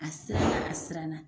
A siranna, a siranna